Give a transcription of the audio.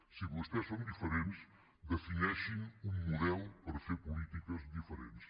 si vostès són diferents defineixin un model per fer polítiques diferents